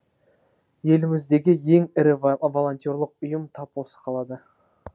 еліміздегі ең ірі волентерлік ұйым тап осы қалада